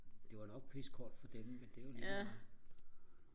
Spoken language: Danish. det var nok pissekoldt for dem men det er jo ligemeget